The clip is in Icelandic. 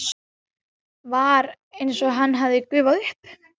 Var einsog hann hefði gufað upp.